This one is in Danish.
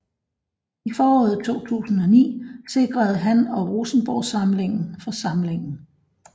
I foråret 2009 sikrede han og Rosenborgsamlingen for samlingen